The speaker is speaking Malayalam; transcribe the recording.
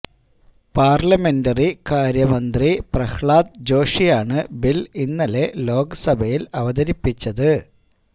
പാർലമെന്ററികാര്യ മന്ത്രി പ്രഹ്ളാദ് ജോഷിയാണ് ബിൽ ഇന്നലെ ലോക് സഭയിൽ അവതരിപ്പിച്ചത്